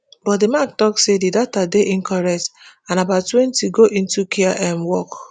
but di mac tok say di data dey incorrect and about twenty go into care um work